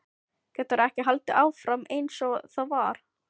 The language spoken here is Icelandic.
Getur ekki haldið áfram einsog það var.